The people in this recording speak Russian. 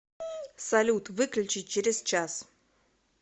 салют выключи через час